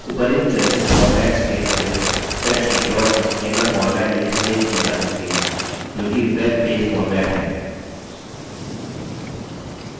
उपर्युक्त चर्चित formats के अतिरिक्त spreadsheet dot html format में भी सेव की जा सकती है जो कि web पेज format है